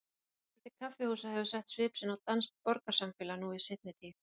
Mikill fjöldi kaffihúsa hefur sett svip sinn á danskt borgarsamfélag nú í seinni tíð.